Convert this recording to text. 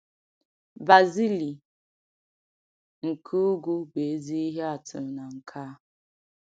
Barzili nke ugwu bụ ezi ihe atụ na nke a.